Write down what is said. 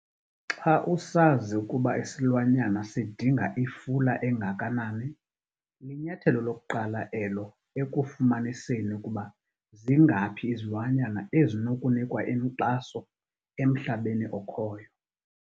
Xa usazi ukuba isilwanyana sidinga ifula engakanani, linyathelo lokuqala elo ekufumaniseni ukuba zingaphi izilwanyana ezinokunikwa inkxaso emhlabeni okhoyo.